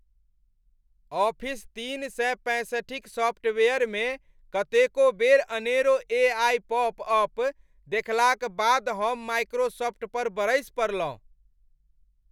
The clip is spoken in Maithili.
ऑफिस तीन सए पैंसठिक सॉफ्टवेयरमे कतेको बेर अनेरो ए.आइ. पॉप अप देखलाक बाद हम माइक्रोसॉफ्ट पर बरसि पड़लहुँ।